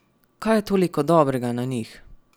Kaj je toliko dobrega na njih?